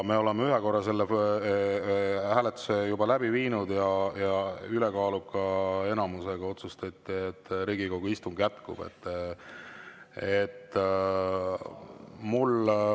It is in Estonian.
Me oleme ühe korra selle hääletuse läbi viinud ja ülekaaluka enamusega otsustati, et Riigikogu istung jätkub.